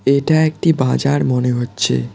এটা একটি বাজার মনে হচ্ছে।